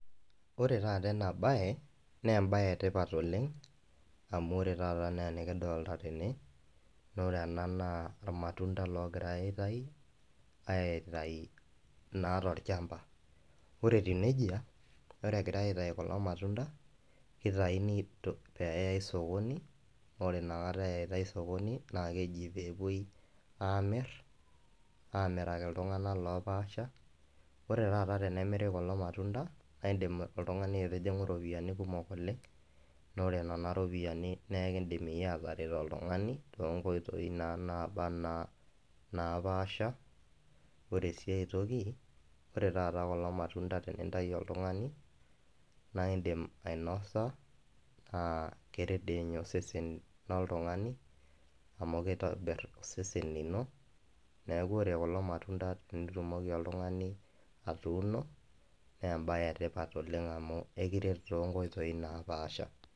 Ore taata enabae, nebae etipat oleng, amu ore taata ene enikidolta tene, nore ena naa ormatunta logirai aitayu, aitayu naa tolchamba. Ore etiu nejia, ore egirai aitayu kulo matunda, kitayuni peyai sokoni, ore nakata eyaitai sokoni, na keji pepoi amir, amiraki iltung'anak lopaasha, ore taata tenemiri kulo matunda, naidim oltung'ani aitijing'u ropiyiani kumok oleng, nore nena ropiyiani nekidim iyie ataret oltung'ani, tonkoitoii naa naba anaa napaasha, ore si aitoki, ore taata kulo matunda tenintayu oltung'ani, na idim ainosa, ah keret dinye osesen loltung'ani, amu kitobir osesen lino, neeku ore kulo matunda tenitumoki oltung'ani atuuno, nebae etipat oleng amu ekiret tonkoitoi napaasha.